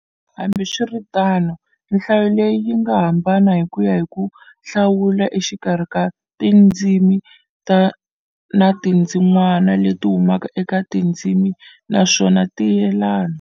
Hambi swiritano, nhlayo leyi yinga hambana hikuya hi ku hlawula exikarhi xa tindzimi na tindzin'wana leti humaka eka tindzimi naswona ti yelana.